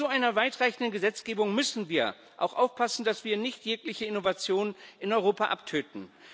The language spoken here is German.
Bei so einer weitreichenden Gesetzgebung müssen wir auch aufpassen, dass wir nicht jegliche Innovation in Europa abtöten.